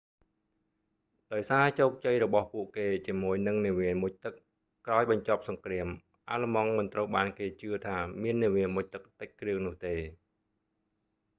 ដោយសារជោគជ័យរបស់ពួកគេជាមួយនឹងនាវាមុជទឹក ក្រោយបញ្ចប់សង្គ្រាម អាល្លឺម៉ង់មិនត្រូវបានគេជឿថាមាននាវាមុជទឹកតិចគ្រឿងនោះទេ